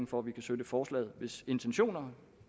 for at vi kan støtte forslaget hvis intentioner